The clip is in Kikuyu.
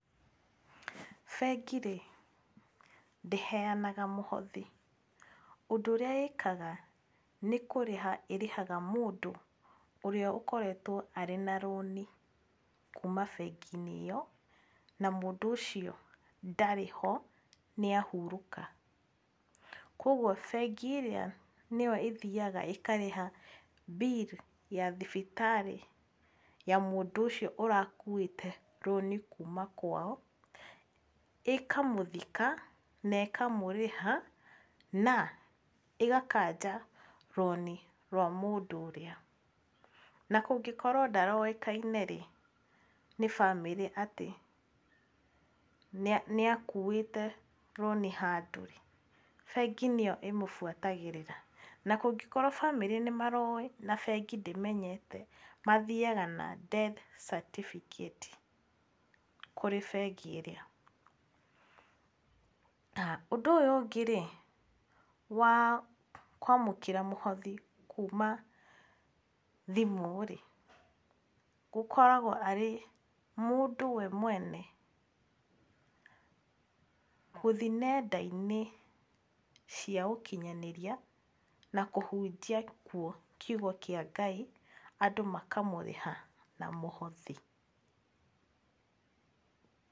Bengi rĩ ndĩheanaga mũhothi, ũndũ ũrĩa ĩkaga nĩ kũrĩha ĩrĩhaga mũndũ ũrĩa ũkoretwo arĩ na rũni kuuma bengi-inĩ ĩyo, na mũndũ ũcio ndarĩ ho nĩ ahurũka. Koguo bengi ĩrĩa nĩyo ĩthiaga ĩkarĩha bill ya thibitarĩ ya mũndũ ũcio ũrakuĩte rũni kuuma kwao. ĩkamũthika na ĩkamũrĩha na ĩgakanja rũni rwa mũndũ ũrĩa. Na kũngĩkorwo ndaroĩkaine rĩ nĩ famĩlĩ atĩ nĩ akuuĩte rũni handũ rĩ, bengi nĩyo ĩmũbuatagĩrĩra. Na kũngĩkorwo famĩlĩ nĩ maroĩ na bengi ndĩmenyete, mathiaga na death certificate kũrĩ bengi ĩrĩa. Ũndũ ũyũ ũngĩ wa kũamũkĩra mũhothi kuuma thimũ rĩ, gũkoragwo arĩ mũndũ we mwene gũthiĩ nenda-inĩ cia ũkinyanĩria, na kũhunjia kuo kiugo kĩa Ngai andũ makamũrĩha na mũhothi.